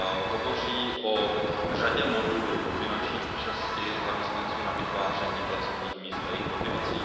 Hovoří o řadě modelů finanční účasti zaměstnanců na vytváření pracovních míst a jejich motivaci.